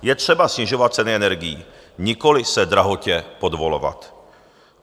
Je třeba snižovat ceny energií, nikoliv se drahotě podvolovat.